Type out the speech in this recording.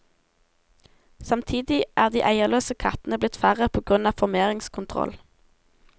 Samtidig er de eierløse kattene blitt færre på grunn av formeringskontroll.